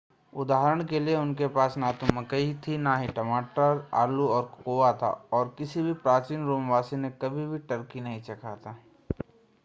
उदाहरण के लिए उनके पास ना तो मकई थी न ही टमाटर आलू और कोकोआ था और किसी भी प्राचीन रोम वासी ने कभी भी टर्की नहीं चखा था